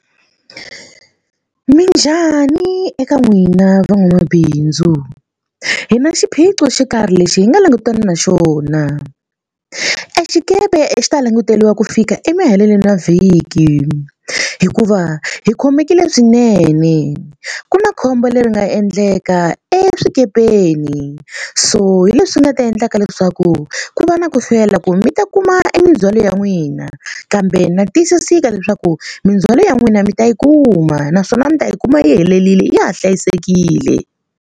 Minjhani eka n'wina van'wamabindzu hi na xiphiqo xo karhi lexi hi nga langutana na xona. E xikepe e xi ta languteriwa ku fika emaheleni ya vhiki hikuva hi khomekile swinene ku na khombo leri nga endleka eswikepeni so hi leswi nga ta endlaka leswaku ku va na ku hlwela ku mi ta kuma e mindzwalo ya n'wina kambe na tiyisiseka leswaku mindzhwalo ya n'wina mi ta yi kuma naswona mi ta yi kuma yi helerile ya ha hlayisekile.